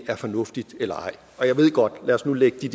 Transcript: er fornuftigt eller ej lad os nu lægge det